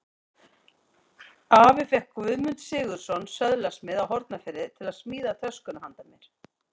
Afi fékk Guðmund Sigurðsson, söðlasmið á Hornafirði, til að smíða töskuna handa mér.